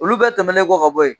Olu bɛ tɛmɛnen kɔ ka bɔ yen